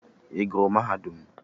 Ị gụrụ mahadum?